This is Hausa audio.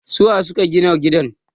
su waye suka Gina gidan?